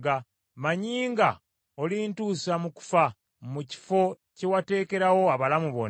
Mmanyi nga olintuusa mu kufa, mu kifo kye wateekerawo abalamu bonna.